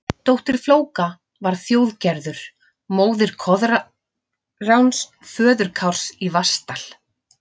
Dóttir Flóka var Þjóðgerður, móðir Koðráns, föður Kárs í Vatnsdal.